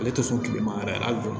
Ale tɛ sɔn kilema yɛrɛ hali